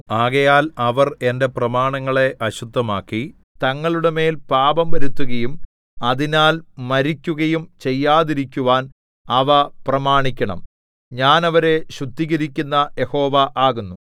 ആകയാൽ അവർ എന്റെ പ്രമാണങ്ങളെ അശുദ്ധമാക്കി തങ്ങളുടെമേൽ പാപം വരുത്തുകയും അതിനാൽ മരിക്കുകയും ചെയ്യാതിരിക്കുവാൻ അവ പ്രമാണിക്കണം ഞാൻ അവരെ ശുദ്ധീകരിക്കുന്ന യഹോവ ആകുന്നു